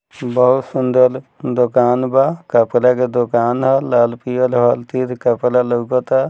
बहुत सुंदर दुकान बा कपड़ा के दुकान ह लाल पियर कपड़ा लउकता।